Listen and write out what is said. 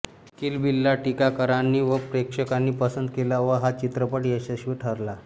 किल बिलला टीकाकारांनी व प्रेक्षकांनी पसंत केले व हा चित्रपट यशस्वी ठरला